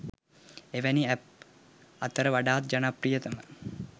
එවැනි ඇප් අතර වඩාත් ජනප්‍රියතම